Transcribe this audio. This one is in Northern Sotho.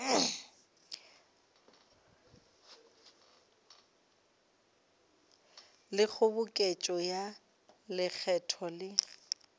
le kgoboketšo ya lekgetho le